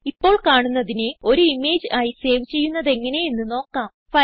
ഇപ്പോൾ കാണുന്നതിനെ ഒരു ഇമേജ് ആയി സേവ് ചെയ്യുന്നതെങ്ങനെ എന്ന് നോക്കാം